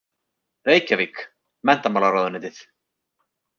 Reykjavík: Menntamálaráðuneytið.